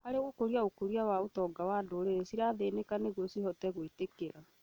harĩ gũkũria ũkũria wa ũtongo wa ndũrĩrĩ cirathĩnĩka nĩguo cihote gwĩtiria